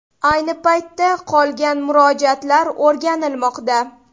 Ayni paytda qolgan murojaatlar o‘rganilmoqda.